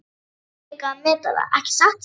Þú kunnir líka að meta það, ekki satt?